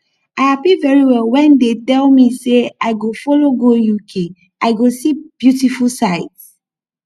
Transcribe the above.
i happy very well wen dey tell me say i go follow go uk i go see beautiful sights